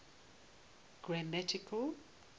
grammatical